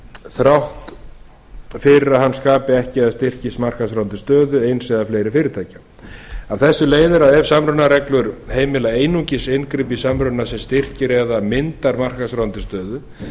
þrátt fyrir að hann skapi ekki eða styrki markaðsráðandi stöðu eins eða fleiri fyrirtækja af þessu leiðir af ef samrunareglur heimila einungis inngrip í samruna sem styrkir eða myndar markaðsráðandi stöðu